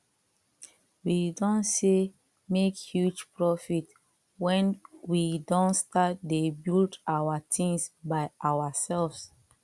we don sey make huge profit when we don start dey build our things by ourselves